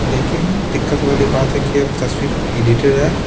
लेकिन दिक्कत वाली बात है कि अब तस्वीर एडिटेड है।